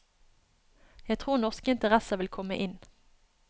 Jeg tror norske interesser vil komme inn.